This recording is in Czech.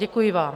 Děkuji vám.